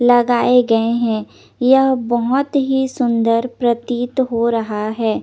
लगाये गये है यह बोहोत ही सुन्दर प्रतीत हो रहा है।